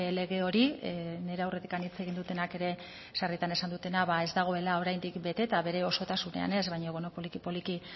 lege hori nire aurretik hitz egin dutenak ere sarritan esan dutena ez dagoela oraindik bete eta bere osotasunean ez baino poliki poliki